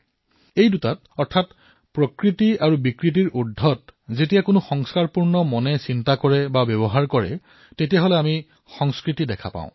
এই দুয়োটাতেই প্ৰকৃতি আৰু বিকৃতিতকৈ ওপৰত যেতিয়া কোনো সংস্কাৰী মনে চিন্তা কৰে অথবা ব্যৱহাৰ কৰে তেতিয়া তাত আমি সংস্কৃতি দেখিবলৈ পাও